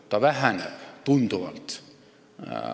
Erinevus väheneb tunduvalt.